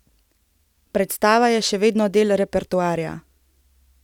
Predstava je še vedno del repertoarja.